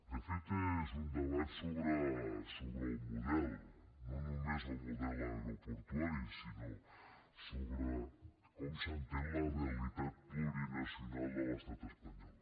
de fet és un debat sobre el model no només el model aeroportuari sinó sobre com s’entén la realitat plurinacional de l’estat espanyol